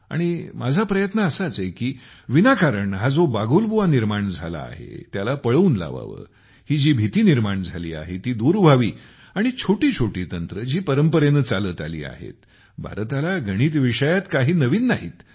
आणि माझा प्रयत्न असाच आहे की विनाकारण हा जो बागुलबुवा निर्माण झाला आहे त्याला पळवून लावावे ही जी भीती निर्माण झाली आहे ती दूर व्हावी आणि छोटी छोटी तंत्रे जी परंपरेने चालत आली आहेत भारताला गणित विषयात काही नवीन नाही आहेत